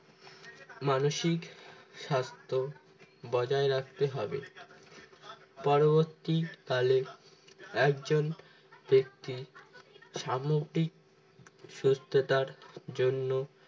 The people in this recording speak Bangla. মানসিক স্বাস্থ্য বজায় রাখতে হবে পরবর্তীকালে একজন ব্যক্তির সামগ্রী সুস্থতার জন্য